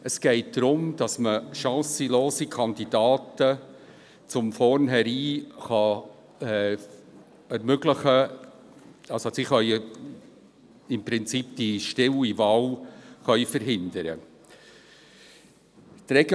Es geht darum, dass chancenlose Kandidaten im Prinzip von vornherein stille Wahlen verhindern können.